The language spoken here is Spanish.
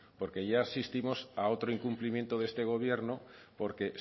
porque ya asistimos a otro incumplimiento de este gobierno porque